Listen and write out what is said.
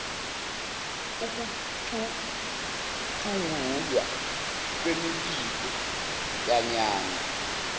ukucutshungulwa kwemibiko yanyanga